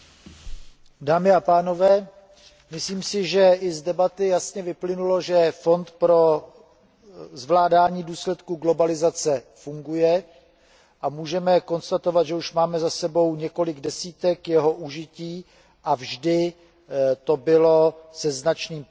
Dámy a pánové, myslím si, že i z debaty jasně vyplynulo, že Evropský fond pro přizpůsobení se globalizaci funguje, a můžeme konstatovat, že už máme za sebou několik desítek jeho užití a vždy to bylo se značným prospěchem